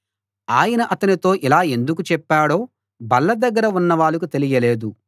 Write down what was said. ఆయన అతనితో ఇలా ఎందుకు చెప్పాడో బల్ల దగ్గర ఉన్నవాళ్ళకు తెలియలేదు